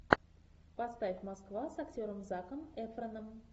поставь москва с актером заком эфроном